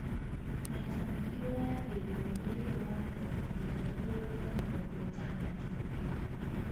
maita maingĩ woyagĩrĩrwo ũrĩ thĩ wa mĩrongo kenda igũrũ rĩa mĩrongo ĩtandatũ